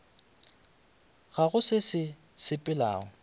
ga go se sa sepelego